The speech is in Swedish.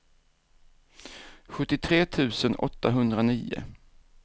sjuttiotre tusen åttahundranio